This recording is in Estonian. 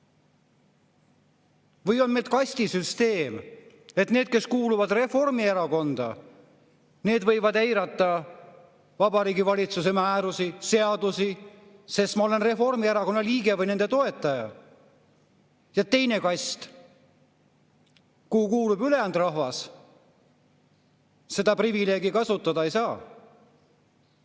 Või on meil kastisüsteem, et need, kes kuuluvad Reformierakonda, võivad eirata Vabariigi Valitsuse määrusi, seadusi, sest nad on Reformierakonna liikmed või nende toetajad, ja teine kast, kuhu kuulub ülejäänud rahvas, seda privileegi kasutada ei saa?